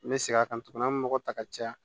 N bɛ segin a kan tuguni an bɛ mɔgɔ ta ka caya